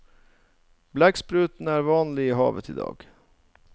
Blekksprutene er vanlig i havet i dag.